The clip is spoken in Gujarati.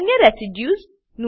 અન્ય રેસિડ્યુઝ